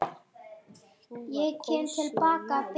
Sú var kósí og næs.